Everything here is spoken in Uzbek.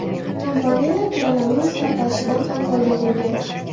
Kompaniyalar koronavirus tarqalishidan ham foyda ko‘rgan.